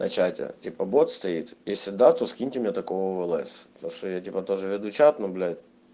на чате типо бот стоит если да то скиньте мне такого в лс потому что я тоже веду чат ну блять